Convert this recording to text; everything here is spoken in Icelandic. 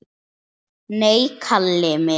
Nei, Kalli minn.